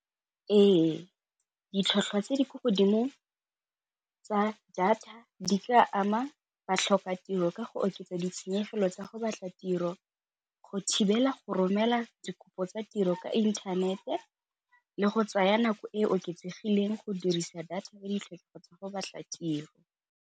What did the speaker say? Ee, ditlhwatlhwa tse di ko godimo tsa data di ka ama batlhokatiro ka go oketsa ditshenyegelo tsa go batla tiro, go thibela go romela dikopo tsa tiro ka intanete le go tsaya nako e e oketsegileng go dirisa data ka ditlhokego tsa go batla tiro.